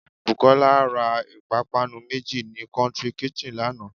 Bùkólá ra ìpápánu méjì ní "country kitchen" lánàá